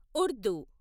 Urdu